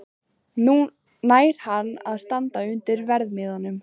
Nær hann að standa undir verðmiðanum?